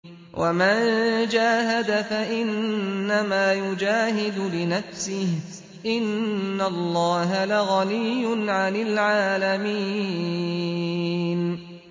وَمَن جَاهَدَ فَإِنَّمَا يُجَاهِدُ لِنَفْسِهِ ۚ إِنَّ اللَّهَ لَغَنِيٌّ عَنِ الْعَالَمِينَ